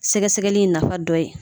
Sɛgɛsɛgɛli nafa dɔ ye